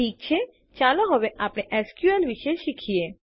ઠીક છે ચાલો હવે આપણે એસક્યુએલ વિશે શીખીએ